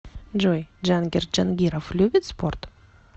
джой джангир джангиров любит спорт